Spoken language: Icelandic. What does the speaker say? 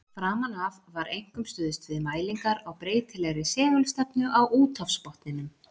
Framan af var einkum stuðst við mælingar á breytilegri segulstefnu á úthafsbotninum.